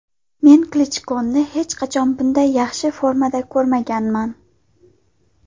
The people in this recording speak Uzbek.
Men Klichkoni hech qachon bunday yaxshi formada ko‘rmaganman.